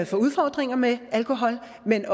får udfordringer med alkohol men